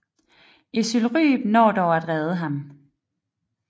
Ezylryb når dog at redde ham